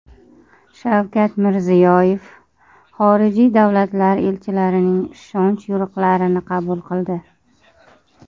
Shavkat Mirziyoyev xorijiy davlatlar elchilarining ishonch yorliqlarini qabul qildi.